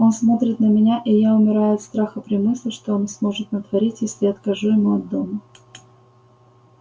он смотрит на меня и я умираю от страха при мысли что он сможет натворить если я откажу ему от дома